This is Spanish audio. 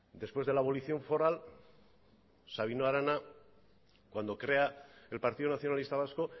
después de la abolición foral sabino arana cuando crea el partido nacionalista vasco